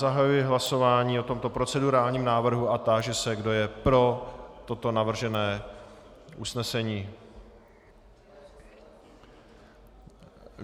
Zahajuji hlasování o tomto procedurálním návrhu a táži se, kdo je pro toto navržené usnesení.